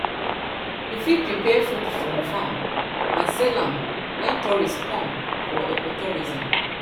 you fit prepare food from farm and sell am when tourists come for ecotourism